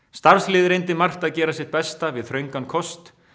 starfslið reyndi margt að gera sitt besta við þröngan kost